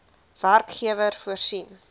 werkgewer voorsien